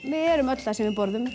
við erum öll það sem við borðum